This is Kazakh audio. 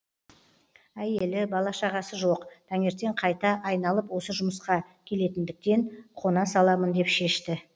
әйелі бала шағасы жоқ таңертең қайта айналып осы жұмысқа келетіндіктен қона саламын деп шешті